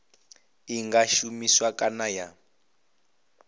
i nga shumiswa kana ya